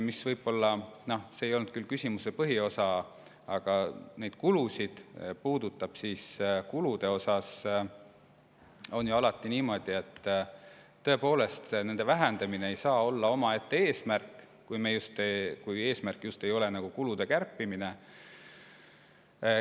Ja noh, see ei olnud küll küsimuse põhiosa, aga mis neid kulusid puudutab, siis kuludega on ju alati niimoodi, et tõepoolest, nende vähendamine ei saa olla omaette eesmärk, kui eesmärk just ei olegi kulusid kärpida.